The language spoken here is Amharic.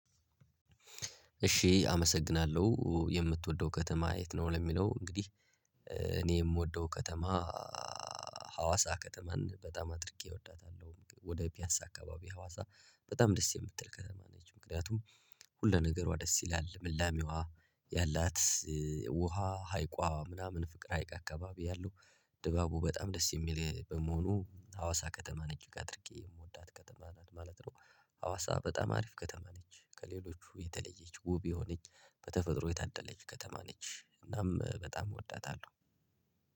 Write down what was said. እሺ አመሰግናለሁ የምትወደው ከተማ የት ነው? ለሚለው እንግዲህ እኔ የምወደው ከተማ ሀዋሳ ከተማን በጣም አድርጌ እወዳታለሁ። ወደ ፒያሳ አካባቢ ሀዋሳ በጣም ደስ የምትል ከተማ ነች። ምክንያቱም ሁለነገሯ ደስ ይላል ልምላሜዋ ያላት ውሃ ሀይቋ ምናምን ፍቅር ሀይቅ አካባቢ ያለው። ድባቡ በጣም ደስ የሚል በመሆኑ ሀዋሳ ከተማን እጅግ አድርጌ የምወዳት ከተማ ናት ማለት ነው። ሀዋሳ በጣም አሪፍ ከተማ ነች። ከሌሎቹ የተለየች ውብ የሆነች በተፈጥሮ የታደለች ከተማ ነች። እናም በጣም እወዳታለሁ።